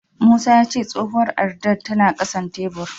Musa ya ce tsohuwar addar tana ƙasan tebur.